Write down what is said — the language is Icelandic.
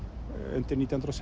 undir nítján hundruð